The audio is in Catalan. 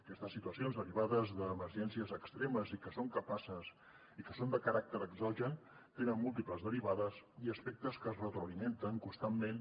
aquestes situacions derivades de emergències extremes i que són de caràcter exogen tenen múltiples derivades i aspectes que es retroalimenten constantment